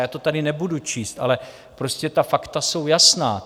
Já to tady nebudu číst, ale prostě ta fakta jsou jasná.